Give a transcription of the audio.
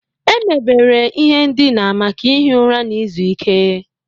Emebere ihe ndina maka ihi ụra na izu ike.